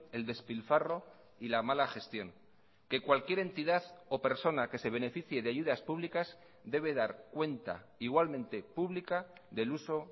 el despilfarro y la mala gestión que cualquier entidad o persona que se beneficie de ayudas públicas debe dar cuenta igualmente pública del uso